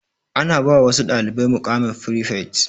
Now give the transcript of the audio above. Ana ba wasu dalibai muƙaman frifet.